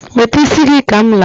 wete isi gi ka m laa